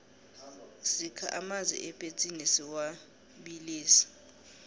sikha amanzi epetsini siwabilise